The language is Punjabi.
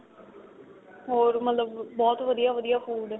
ਹੋਰ ਮਤਲਬ ਬਹੁਤ ਵਧੀਆ ਵਧੀਆ food